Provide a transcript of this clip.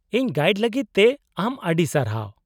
-ᱤᱧ ᱜᱟᱭᱤᱰ ᱞᱟᱹᱜᱤᱫ ᱛᱮ ᱟᱢ ᱟᱹᱰᱤ ᱥᱟᱨᱦᱟᱣ ᱾